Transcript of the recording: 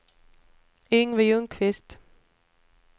Yngve Ljungqvist